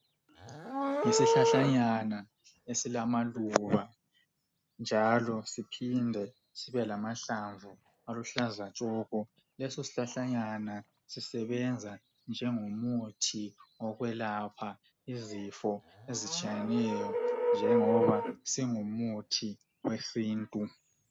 Isihlahlanyana esilamaluba njalo siphinde sibelamahlamvu aluhlaza tshoko. Leso sihlahlanyana sisebenza njengomuthi wokwelapha izifo ezitshiyeneyo njengoba singumuthi wesintu.